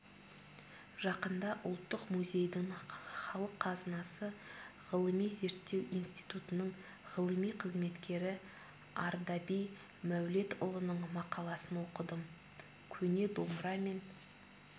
жақында ұлттық музейдің халық қазынасы ғылыми-зерттеу институтының ғылыми қызметкері ардаби мәулетұлының мақаласын оқыдым көне домбыра мен